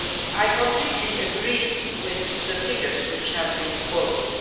I completely agree with the figures which have been quoted.